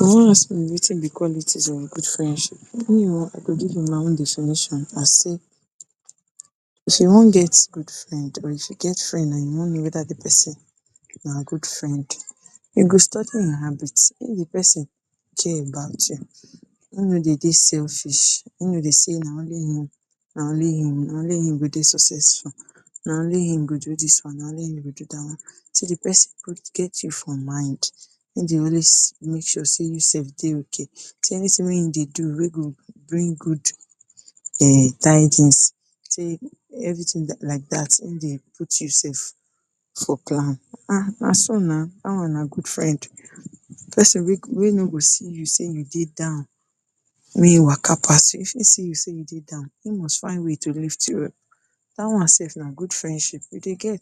wan ask me watin be qualities in good friendship, me wan give una my own definition as say if you wan get good friend or you get friend and you wan know weda di pesin na good friend, you go study him habit, if di pesin care about you him no dey dey selfish, him no dey say na only him, na only him, na only him wey dey successful, na only him go do dis one, na only him go do dat one, see di pesin go get you for mind, him dey always make sure sey you self dey okay. Everytins wey him dey do wey go bring good um tidings sey everytin like dat him dey put you self for plan um na so na dat one na good friend, pesin wey no go see you sey you dey down make e waka pass you, if e see sey you dey down him must find way to lift you up, dat one self na good friendship, you dey get.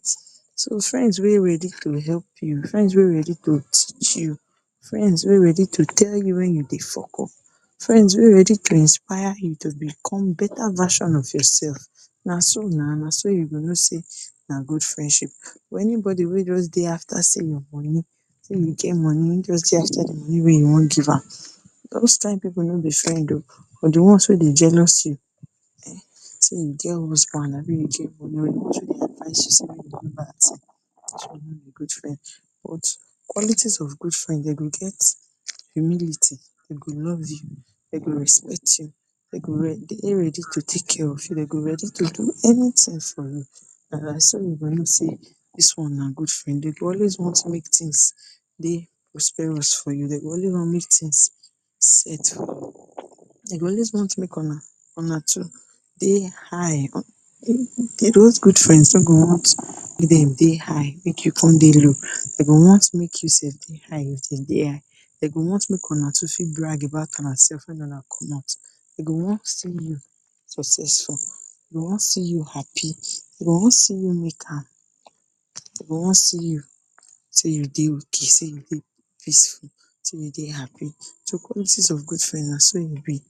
Friends wey ready to help you, friends wey ready to teach you, friends wey ready to tell you wen you dey fuck up, friends wey ready to inspire you to become beta version of yourself, na so na, na so you go know sey na good friendship but any body wey just dey after sey your moni, wen you get moni him just dey after di moni wey you wan give am dose kain pipu no be friends o, or di ones wey dey jealous you um sey you get husband no be good friend. Qualities of good friend, dem go get humility, dem go love you, dem go respect you, dem go dey ready to take care of you, dem go ready to do any tin for you and na so you go know sey dis one na good friend. Dey go always want make tins dey prosperous for you, dem go always want make tins set for you, dem go always want make una two dey high, dose good friends wey go want make dem dey high make you dey low, dem go want make you self dey high with dem, dem go want make una two fit brag about una self wen una commot, e go wan see you you successful, e go wan see you happy, e go wan see you make am, e go wan see you sey you dey okay, sey you dey peaceful, sey you dey happy. So qualities of good friends na so e be,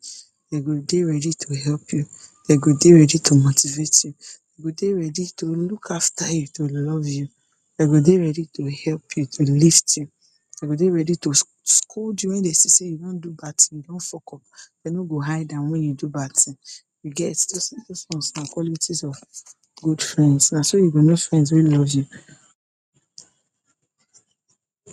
dem go dey ready to help you, dem go dey ready to motivate you, dem go dey ready to look after you, to love you, dem go dey ready to help you, to lis ten, dem go dey ready to scold you wen dem see sey you don do bad tin, you fuck up, dem no go hide am wen you do bad tin.you get, Dose ones na qualities of good friends, na do you go know friends wey love you